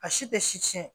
A si tɛ si tiɲɛ